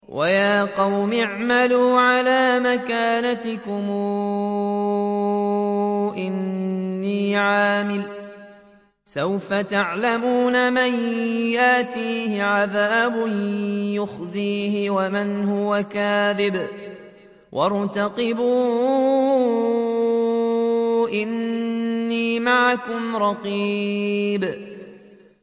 وَيَا قَوْمِ اعْمَلُوا عَلَىٰ مَكَانَتِكُمْ إِنِّي عَامِلٌ ۖ سَوْفَ تَعْلَمُونَ مَن يَأْتِيهِ عَذَابٌ يُخْزِيهِ وَمَنْ هُوَ كَاذِبٌ ۖ وَارْتَقِبُوا إِنِّي مَعَكُمْ رَقِيبٌ